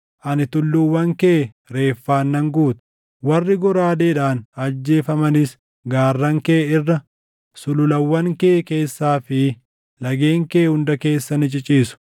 Ani tulluuwwan kee reeffaan nan guuta; warri goraadeedhaan ajjeefamanis gaarran kee irra, sululawwan kee keessaa fi lageen kee hunda keessa ni ciciisu.